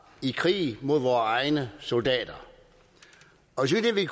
i krig mod vore egne soldater og så vidt vi